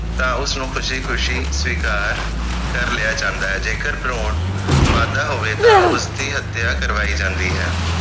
ਤਾਂ ਉਸ ਨੂੰ ਖੁਸ਼ੀ ਖੁਸ਼ੀ ਸਵੀਕਾਰ ਕਰ ਲਿਆ ਜਾਂਦੇ ਜੇਕਰ ਭਰੂਣ ਮਾਦਾ ਹੋਵੇ ਤਾਂ ਉਸ ਦੀ ਹਤਿਆ ਕਰਵਾਈ ਜਾਂਦੀ ਹੈ